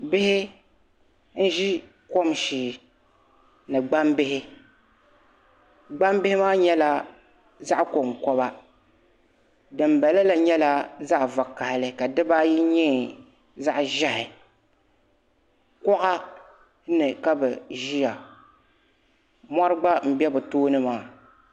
Bihi n zi kom ahɛɛ ni gbaŋ bihi gbaŋ bihi maa nyɛla zaɣi ko n koba dini bala la nyɛla zaɣi vakahali ka si diba ayi nyɛ zaɣi zɛhi kuɣa ni kabi ziya mori gba n bɛ bi tooni maa.